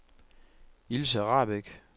Ilse Rahbek